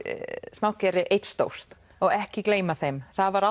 smátt gerir eitt stórt og ekki gleyma þeim það var